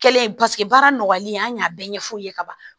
Kɛlen paseke baara nɔgɔlen an y'a bɛɛ ɲɛfu ye ka ban